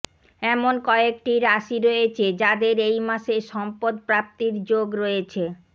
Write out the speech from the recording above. এমন কয়েকটি রাশি রয়েছে যাদের এই মাসে সম্পদ প্রাপ্তির যোগ রয়েছে